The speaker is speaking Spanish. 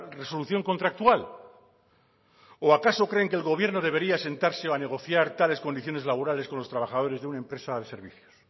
resolución contractual o acaso creen que el gobierno debería sentarse a negociar tales condiciones laborales con los trabajadores de una empresa de servicios